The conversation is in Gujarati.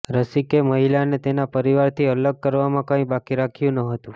રસિકે મહિલાને તેના પરિવારથી અલગ કરવામાં કઈ બાકી રાખ્યું ન હતું